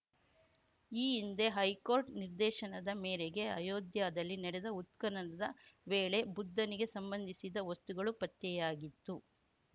ಈ ಹಿಂದೆ ಹೈಕೋರ್ಟ್‌ ನಿರ್ದೇಶನದ ಮೇರೆಗೆ ಅಯೋಧ್ಯಯಲ್ಲಿ ನಡೆದ ಉತ್ಖನನದ ವೇಳೆಬುದ್ಧನಿಗೆ ಸಂಬಂಧಿಸಿದ ವಸ್ತುಗಳು ಪತ್ತೆಯಾಗಿತ್ತು